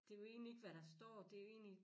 Det jo egentlig ikke hvad der står det jo egentlig